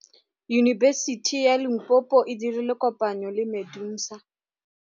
Yunibesiti ya Limpopo e dirile kopanyô le MEDUNSA.